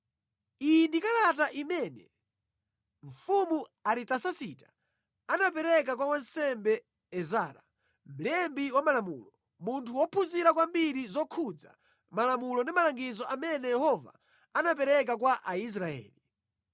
Iyi ndi kalata imene mfumu Aritasasita anapereka kwa wansembe Ezara, mlembi wa malamulo, munthu wophunzira kwambiri zokhudza malamulo ndi malangizo amene Yehova anapereka kwa Aisraeli.